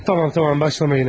Tamam, tamam, başlama yenə.